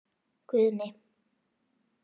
Guðni